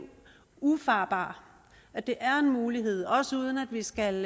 ufarbar at det er en mulighed også uden at vi skal